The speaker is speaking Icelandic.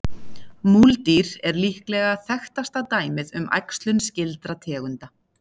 Múldýr er líklega þekktasta dæmið um æxlun skyldra tegunda.